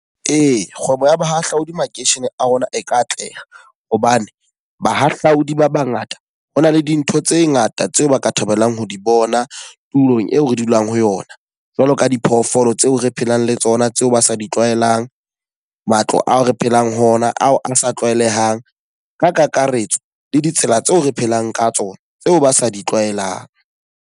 Ee, kgwebo ya bohahlaudi makeishene a rona e ka atleha. Hobane bahahlaodi ba ba ngata ho na le dintho tse ngata tseo ba ka thabelang ho di bona tulong eo re dulang ho yona. Jwalo ka diphoofolo tseo re phelang le tsona tseo ba sa di tlwaelang, matlo ao re phelang ho ona ao a sa tlwaelehang, ka kakaretso le ditsela tseo re phelang ka tsona tseo ba sa ditlwaelang.